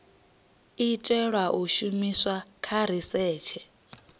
itelwa u shumiswa kha risetshe